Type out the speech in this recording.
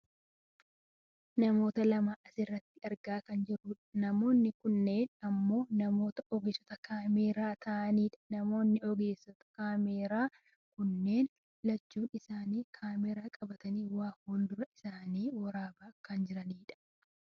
Namoota lama asirratti argaa kan jirrudha. . Namoonni kunneen ammoo namoota ogeessota kaameraa ta'ani dha. Namoonni ogeessota kaameraa kunneen lachuu isaanu kaameraa qabatanii waa fuuldura isaaniitti waraabaa kan jirani dha.